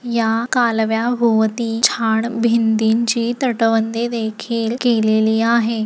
या कालव्या भोवती छान भिंतींची तटबंदी देखील केलेली आहे.